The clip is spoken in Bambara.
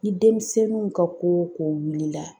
Ni denmisɛnninw ka ko o ko wulila